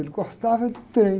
Ele gostava do trem.